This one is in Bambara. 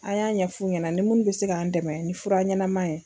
An y'an ɲɛfuw ɲɛna ni munnu bɛ se k'an dɛmɛ ni fura ɲɛnɛma ye.